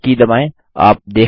अब Enter की दबाएँ